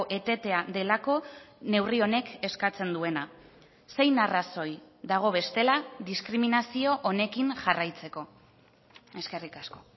etetea delako neurri honek eskatzen duena zein arrazoi dago bestela diskriminazio honekin jarraitzeko eskerrik asko